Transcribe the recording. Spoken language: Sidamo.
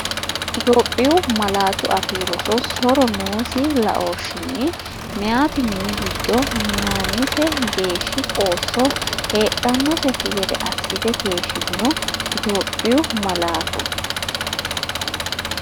Itophiyu Malaatu Afii Roso so’ro noosi laooshinni meyaati mini giddo minaannise geeshshi qoosso heedhan- noseikki gede assite keeshshitino Itophiyu Malaatu.